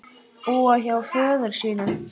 Búa hjá föður sínum?